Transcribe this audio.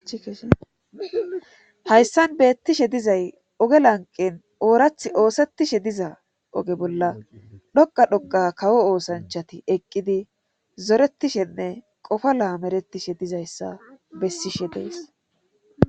hayssan beettishe dizay oge lanqen oorath oosettishe diza oge bolla dhoqa dhoqa kawo oosanchati eqqidi zoretishenne qofa laameretishe dizayssa bessishe dees